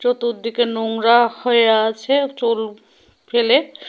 চতুর্দিকে নোংরা হয়ে আছে চুল ফেলে।